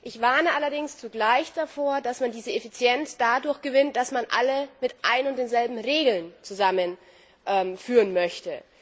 Ich warne allerdings zugleich davor, dass man diese Effizienz dadurch gewinnt, dass man alle mit ein und denselben Regeln zusammenführen möchte.